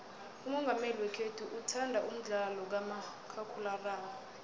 umongameli wekhethu uthanda umdlalo kamakhakhulararhwe